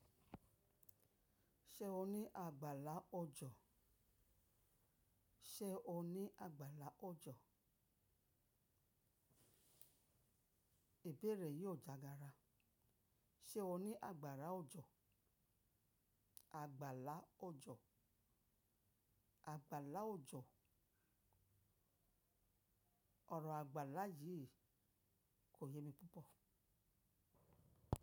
Ṣé o ní àgbàlá ọjọ́? Ṣé o ní àgbàlá ọjọ́? Ìbéèrè yìí ò jàgára. Ṣé o ní àgbàrá ojo? Àgbàlá ọjọ́. Àgbàlá ọjọ́. Ọ̀rọ̀ àgbàlá yìí kò yé mi púpọ̀.